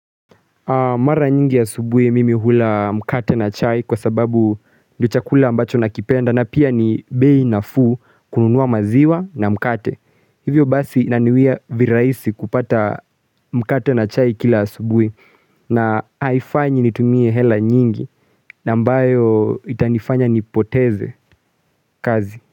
Mara nyingi asubuhi mimi hula mkate na chai kwa sababu ndio chakula ambacho nakipenda na pia ni bei nafuu kununua maziwa na mkate. Hivyo basi inaniwia virahisi kupata mkate na chai kila asubuhi na haifanyi nitumie hela nyingi na mbayo itanifanya nipoteze kazi.